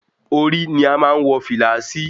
Orí ni a má ń wọ fìlà sí.